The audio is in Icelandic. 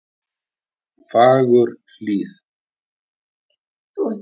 Fagurhlíð